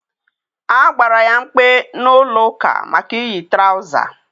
A gbara ya mkpe n'ụlọ ụka maka iyi trawụza.